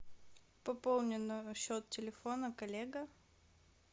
пополни номер счет телефона коллега